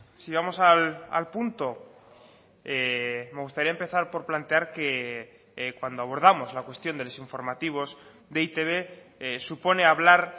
si vamos al punto me gustaría empezar por plantear que cuando abordamos la cuestión de los informativos de e i te be supone hablar